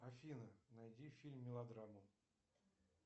афина найди фильм мелодраму